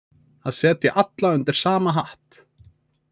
Að setja alla undir sama hatt